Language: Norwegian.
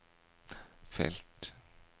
felt